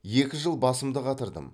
екі жыл басымды қатырдым